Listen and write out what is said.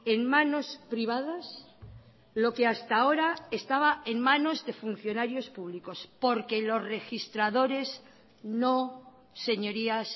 en manos privadas lo que hasta ahora estaba en manos de funcionarios públicos porque los registradores no señorías